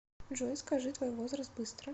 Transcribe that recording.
джой скажи твой возраст быстро